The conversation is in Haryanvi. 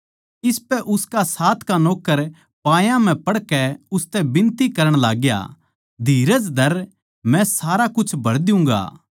इसपै उसका साथ का नौक्कर पायां म्ह पड़कै उसतै बिनती करण लाग्या धीरज धर मै सारा कुछ भर दियुँगा